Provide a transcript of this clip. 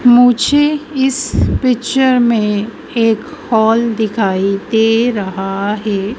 मुझे इस पिक्चर मे एक हॉल दिखाई दे रहा है।